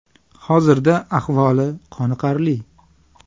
Hozirda ahvoli qoniqarli.